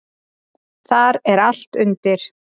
Þar er allt undir.